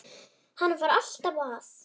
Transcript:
Hann var alltaf að.